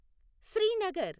Srinagar